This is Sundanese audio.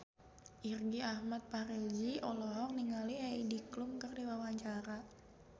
Irgi Ahmad Fahrezi olohok ningali Heidi Klum keur diwawancara